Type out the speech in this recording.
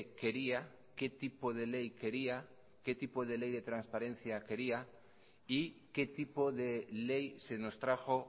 quería qué tipo de ley quería qué tipo de ley de transparencia quería y qué tipo de ley se nos trajo